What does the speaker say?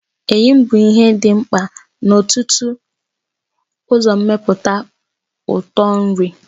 Eyịm bụ ihe dị mkpa n'ọtụtụ uzommeputa ụtụtụ nri.